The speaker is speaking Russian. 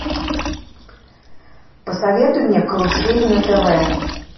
посоветуй мне карусель на тв